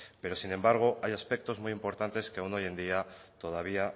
pero sin embargo hay aspectos muy importantes que aún hoy en día todavía